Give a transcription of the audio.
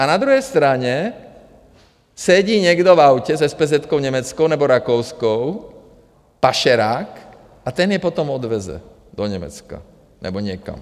A na druhé straně sedí někdo v autě s espézetkou německou nebo rakouskou, pašerák, a ten je potom odveze do Německa nebo někam.